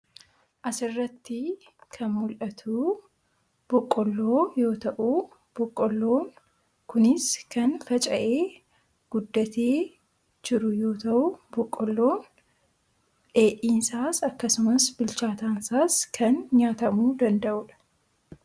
Asirratti kan mul'atu boqqolloo yoo ta'u, boqqolloon kunis kan faca'ee, guddatee jiru yoo ta'u, boqqolloon dheedhiinaas akkasumas bilchaataansaas kan nyaatamuu danda'udha.